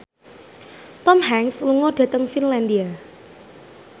Tom Hanks lunga dhateng Finlandia